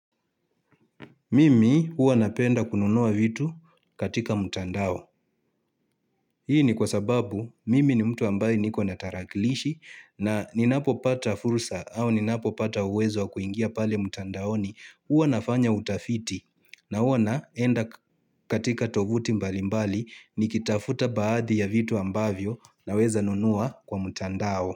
Mimi huwa napenda kununua vitu katika mtandao. Hii ni kwa sababu mimi ni mtu ambaye niko na tarakilishi na ninapo pata fursa au ninapopata uwezo wa kuingia pale mtandaoni huwa nafanya utafiti na huwa naenda katika tovuti mbalimbali nikitafuta baadhi ya vitu ambavyo naweza nunua kwa mtandao.